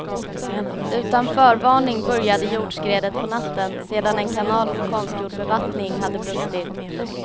Utan förvarning började jordskredet på natten sedan en kanal för konstgjord bevattning hade brustit.